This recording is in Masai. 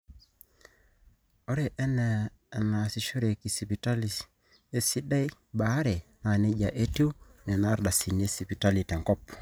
ore enaa eneasishoreki sipitali esidai obaare naa neija etiu nena ardasini esipitali tenkop